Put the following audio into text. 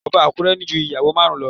Ọba Akure ní ju ìyàwó márùn-ún lo